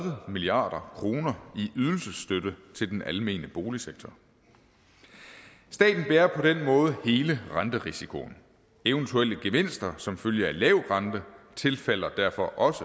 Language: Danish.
milliard kroner i ydelsesstøtte til den almene boligsektor staten bærer på den måde hele renterisikoen eventuelle gevinster som følge af lav rente tilfalder derfor også